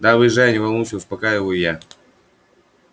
да выезжаю не волнуйся успокаиваю я